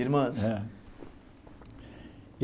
Irmãs? É